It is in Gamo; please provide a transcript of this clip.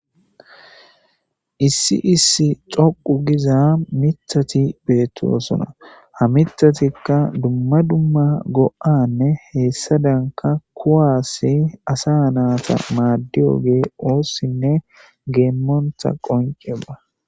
Issi issi dhoqqu giiza miththati bettosona ha miththayka dumma dumma go'anne hessadanka kuwasi asa nata madiyogey ossine gemontta qoncceko.